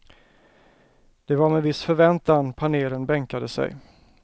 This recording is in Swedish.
Det var med viss förväntan panelen bänkade sig.